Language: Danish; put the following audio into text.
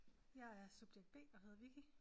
Jeg er subjekt B og hedder Vicki